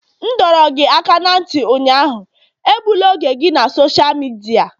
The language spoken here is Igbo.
M dọrọ gị aka ná ntị ụnyaahụ, egbula oge gị na sosha midia!